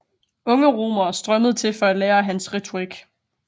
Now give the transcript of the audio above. Unge romere strømmede til for at lære af hans retorik